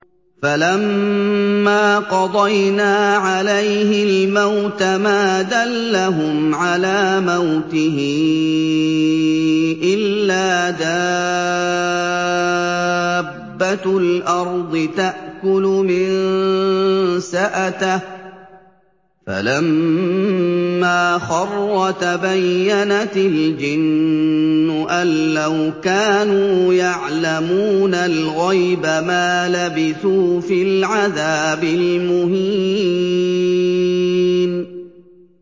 فَلَمَّا قَضَيْنَا عَلَيْهِ الْمَوْتَ مَا دَلَّهُمْ عَلَىٰ مَوْتِهِ إِلَّا دَابَّةُ الْأَرْضِ تَأْكُلُ مِنسَأَتَهُ ۖ فَلَمَّا خَرَّ تَبَيَّنَتِ الْجِنُّ أَن لَّوْ كَانُوا يَعْلَمُونَ الْغَيْبَ مَا لَبِثُوا فِي الْعَذَابِ الْمُهِينِ